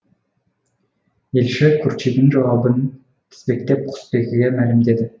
елші қурчидің жауабын тізбектеп құсбегіге мәлімдеді